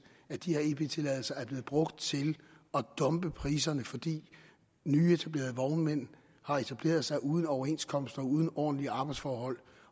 at de her ep tilladelser er blevet brugt til at dumpe priserne fordi nyetablerede vognmænd har etableret sig uden overenskomster og uden ordentlige arbejdsforhold